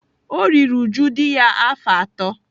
O riri uju dị ya afọ atọ.